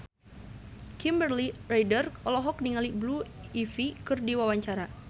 Kimberly Ryder olohok ningali Blue Ivy keur diwawancara